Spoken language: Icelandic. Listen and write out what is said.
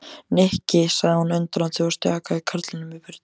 Nikki sagði hún undrandi og stjakaði karlinum í burtu.